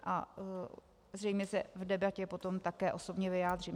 A zřejmě se v debatě potom také osobně vyjádřím.